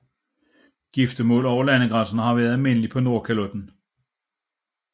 Giftermål over landegrænser har vært almindelige på Nordkalotten